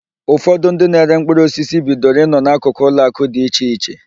Ụfọdụ ndị na-ere mkpụrụosisi bidoro ị nọ n'akụkụ ụlọakụ dị iche iche.